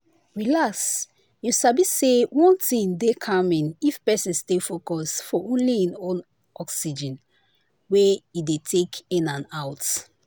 relax you sabi say one thing dey calming if person stay focus for only hin own oxygen wey e dey take in and out.